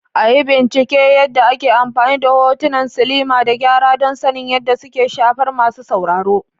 A yi bincike yadda ake amfani da hotunan silima da gyara don sanin yadda suke shafar masu sauraro.